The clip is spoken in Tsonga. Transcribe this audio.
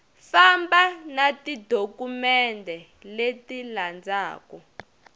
famba na tidokumende leti landzaku